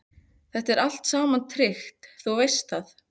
Þetta er allt saman tryggt, þú veist það.